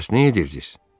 Bəs nə edirdiz?